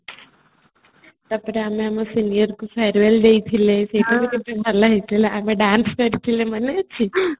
ତାପରେ ଆମେ ଆମର senior କୁ fairwell ଦେଇଥିଲେ ସେଇଟା କେତେ ଭଲ ହେଇଥିଲା ଆଗ dance କରିଥିଲେ ମନେଅଛି